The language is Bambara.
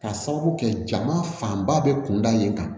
K'a sababu kɛ jama fanba bɛ kunda in kan